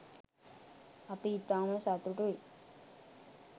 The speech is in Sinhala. අපි ඉතාම සතුටුයි